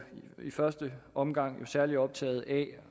i første omgang særlig optaget af